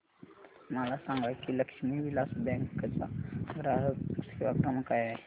मला सांगा की लक्ष्मी विलास बँक चा ग्राहक सेवा क्रमांक काय आहे